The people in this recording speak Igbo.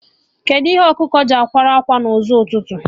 Kedụ ihe ọkụkọ ji akwa ákwà na ụzọ ụtụtụ?